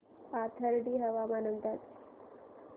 पाथर्डी हवामान अंदाज